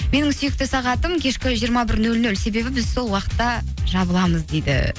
менің сүйікті сағатым кешкі жиырма бір нөл нөл себебі біз сол уақытта жабыламыз дейді